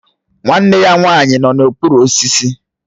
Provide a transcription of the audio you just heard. Nwanne ya nwanyị nọ n'okpuru osisi